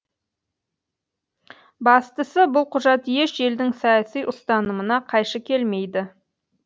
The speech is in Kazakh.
бастысы бұл құжат еш елдің саяси ұстанымына қайшы келмейді